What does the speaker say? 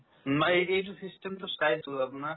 নাই এই এইটো system তো না